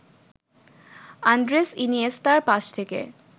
Andres ইনিয়েস্তার pass থেকে